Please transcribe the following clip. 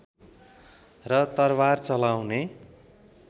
र तरबार चलाउने